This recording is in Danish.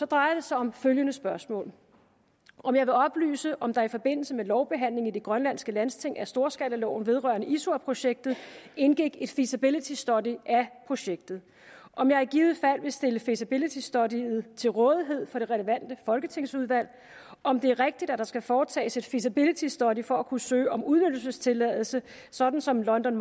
drejer det sig om følgende spørgsmål om jeg vil oplyse om der i forbindelse med lovbehandlingen i det grønlandske landsting af storskalaloven vedrørende isuaprojektet indgik et feasibility study af projektet om jeg i givet fald vil stille det feasibility study til rådighed for det relevante folketingsudvalg om det er rigtigt at der skal foretages et feasibility study for at kunne søge om udnyttelsestilladelse sådan som london